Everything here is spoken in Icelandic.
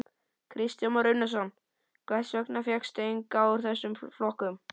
Kristján Már Unnarsson: Hvers vegna fékkstu engan úr þessum flokkum?